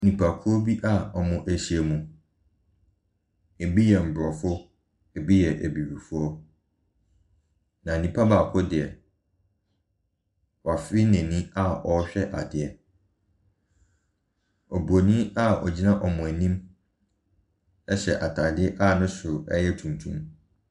Nnipakuo bi wɔahyiam. Ebi yɛ Mmorɔfo. Ebi yɛ Abibifo. Na nipa baako deɛ, wɔfee n'ani a ɔrehwɛ adeɛ. Oburoni a ogyina wɔn anim hyɛ ataadeɛ a ne soro yɛ tuntum.